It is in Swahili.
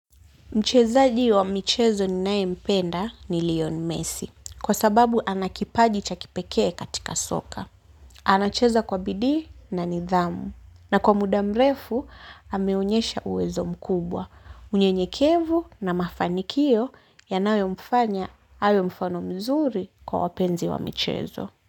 Mchezaji wa michezo ninayempenda ni Lion Messi, kwa sababu ana kipaji cha kipekee katika soka. Anacheza kwa bidii na nidhamu, na kwa muda mrefu ameonyesha uwezo mkubwa. Unyenyekevu na mafanikio yanayomfanya awe mfano mzuri kwa wapenzi wa michezo.